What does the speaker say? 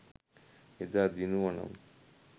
එදා දිනුවනම්